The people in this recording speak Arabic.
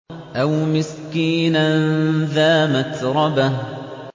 أَوْ مِسْكِينًا ذَا مَتْرَبَةٍ